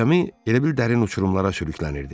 Gəmi elə bil dərin uçurumlara sürüklənirdi.